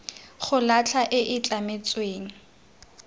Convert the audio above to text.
go latlha e e tlametsweng